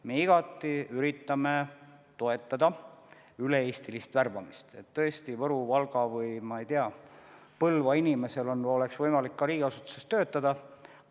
Me igati üritame toetada üle-eestilist värbamist, et tõesti ka Võru, Valga või näiteks Põlva inimestel oleks ka võimalik riigiasutuses töötada.